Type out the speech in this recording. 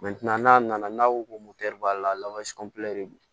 n'a nana n'a ko ko b'a la